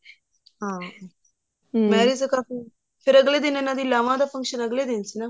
ਹਾਂ ਤਾਂ ਕਾਫੀ ਫ਼ੇਰ ਅਗਲੇ ਦਿਨ ਇਹਨਾ ਦੀਆਂ ਲਾਵਾਂ ਦਾ function ਅਗਲੇ ਦਿਨ ਸੀ ਨਾ